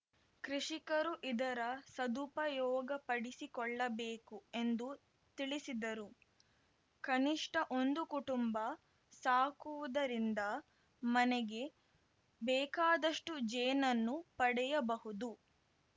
ಕೃಷಿಕರು ಇದರ ಸದುಪಯೋಗಪಡಿಸಿಕೊಳ್ಳಬೇಕು ಎಂದು ತಿಳಿಸಿದರು ಕನಿಷ್ಟಒಂದು ಕುಟುಂಬ ಸಾಕುವುದರಿಂದ ಮನೆಗೆ ಬೇಕಾದಷ್ಟುಜೇನನ್ನು ಪಡೆಯಬಹುದು